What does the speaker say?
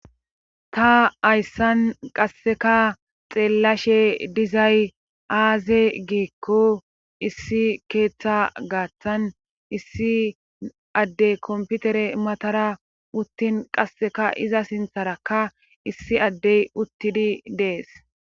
ta hayssan qasseka xeellashe dizay aaze giikko issi keeththa gaaththan issi addey komputere matara uttin qasseka iza sintharakka issi addey uttidi dees